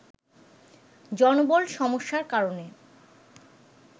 জনবল সমস্যার কারণে